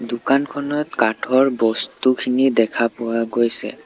দোকানখনত কাঠৰ বস্তুখিনি দেখা পোৱা গৈছে।